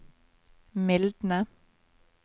mildne